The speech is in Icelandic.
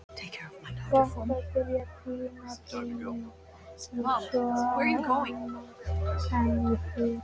Gott að byrja tímabilið svona annað en í fyrra.